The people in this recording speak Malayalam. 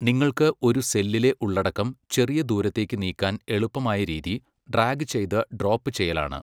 നിങ്ങൾക്ക് ഒരു സെല്ലിലെ ഉള്ളടക്കം ചെറിയ ദൂരത്തേക്ക് നീക്കാൻ എളുപ്പമായ രീതി ഡ്രാഗ് ചെയ്ത് ഡ്രോപ് ചെയ്യലാണ്.